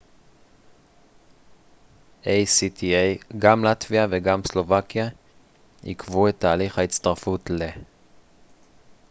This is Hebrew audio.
גם לטביה וגם סלובקיה עיכבו את תהליך ההצטרפות ל-acta